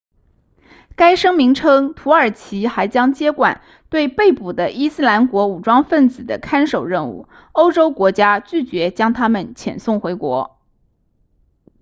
该声明称土耳其还将接管对被捕的伊斯兰国武装分子的看守任务欧洲国家拒绝将他们遣送回国